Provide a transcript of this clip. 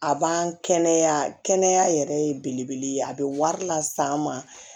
A b'an kɛnɛya kɛnɛya yɛrɛ ye belebele ye a bɛ wari las'an ma